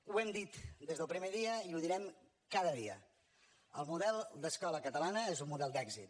ho hem dit des del primer dia i ho direm cada dia el model d’escola catalana és un model d’èxit